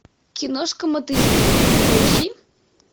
киношка мотыльки поищи